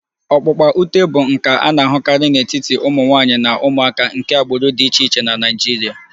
Ọkpụkpa ute bụ nka a na-ahụkarị n'etiti ụmụ nwanyị na ụmụaka nke agbụrụ dị iche iche na Nigeria